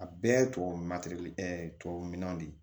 A bɛɛ tubabu tubabu minɛnw de